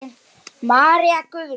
María Guðrún.